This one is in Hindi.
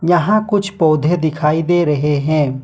यहां कुछ पौधे दिखाई दे रहे हैं।